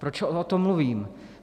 Proč o tom mluvím?